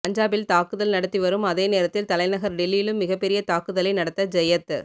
பஞ்சாபில் தாக்குதல் நடத்தி வரும் அதே நேரத்தில் தலைநகர் டெல்லியிலும் மிகப் பெரிய தாக்குதலை நடத்த ஜெயத்